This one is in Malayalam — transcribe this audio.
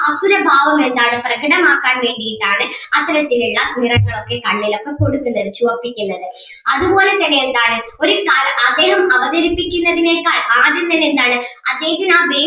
അസുരഭാവം എന്താണ് പ്രകടമാക്കാൻ വേണ്ടീട്ട് ആണ് അത്തരത്തിൽ ഒള്ള നിറങ്ങൾ ഒക്കെ കണ്ണിലൊക്കെ കൊടുക്കുന്നത് ചുവപ്പിക്കുന്നത് അതുപോലെ തന്നെ എന്താണ് ഒരിക്കലും അദ്ദേഹം അവതരിപ്പിക്കുന്നതിനേക്കാൾ ആരും തന്നെ എന്താണ് അദ്ദേഹത്തിന് ആ